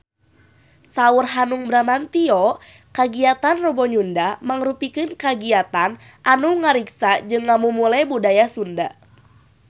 Saur Hanung Bramantyo kagiatan Rebo Nyunda mangrupikeun kagiatan anu ngariksa jeung ngamumule budaya Sunda